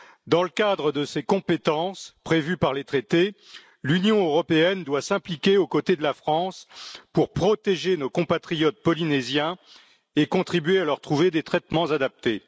Dans le cadre de ses compétences, prévues par les traités, l'Union européenne doit s'impliquer aux côtés de la France pour protéger nos compatriotes polynésiens et contribuer à leur trouver des traitements adaptés.